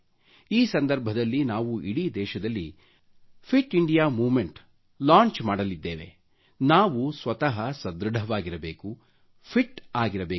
ಈ ಸಂದರ್ಭದಲ್ಲಿ ನಾವು ಇಡೀ ದೇಶದಲ್ಲಿ ಫಿಟ್ ಇಂಡಿಯಾ ಮೂವ್ಮೆಂಟ್ ಲಾಂಚ್ ಮಾಡಲಿದ್ದೇವೆ ನಾವು ಸ್ವತ ಸಧೃಡವಾಗಿರಬೇಕು ಫಿಟ್ ಇರಬೇಕು